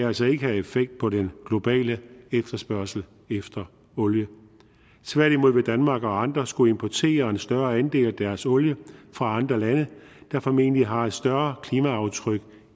altså ikke have effekt på den globale efterspørgsel efter olie tværtimod vil danmark og andre skulle importere en større andel af deres olie fra andre lande der formentlig har et større klimaaftryk